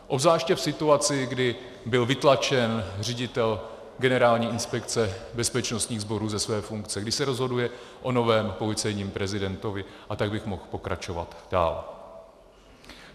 Obzvláště v situaci, kdy byl vytlačen ředitel Generální inspekce bezpečnostních sborů ze své funkce, kdy se rozhoduje o novém policejním prezidentovi, a tak bych mohl pokračovat dál.